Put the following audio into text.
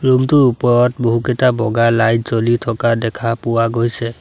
Room টোৰ ওপৰত বহুকেইটা বগা লাইট জ্বলি থকা দেখা পোৱা গৈছে।